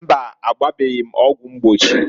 Mbaǃ Agbabeghi m ọgwụ mgbochi.